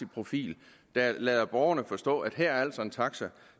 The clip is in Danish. profil der lader borgerne forstå at her er der altså en taxa